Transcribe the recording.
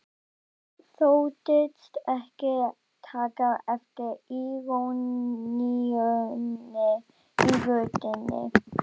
Birkir þóttist ekki taka eftir íroníunni í röddinni.